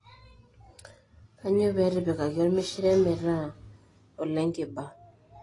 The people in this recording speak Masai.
kanyio peyie etipikaki elmishire metaa olenkiba.